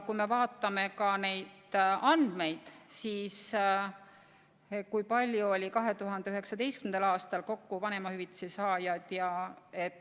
Vaatame andmeid, kui palju oli 2019. aastal kokku vanemahüvitise saajaid.